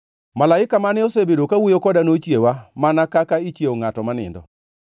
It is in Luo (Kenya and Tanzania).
Malaika mane osebedo kawuoyo koda nochiewa, mana kaka ichiewo ngʼato ma nindo.